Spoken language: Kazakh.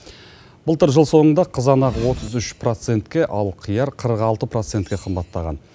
былтыр жыл соңында қызанақ отыз үш процентке ал қияр қырық алты процентке қымбаттаған